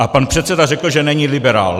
A pan předseda řekl, že není liberál.